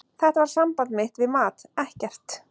Þetta var samband mitt við mat, ekkert.